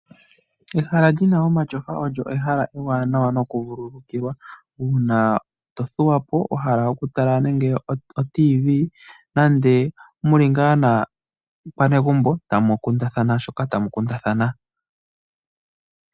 Ehala lyina omatyofa olyo ehala ewaanawa noku vululukilwa, uuna to thuwa po, wa hala oku tala ande otv, nande muli ngaa naakwanegumbo tamu kundathana shoka tamu kundathana.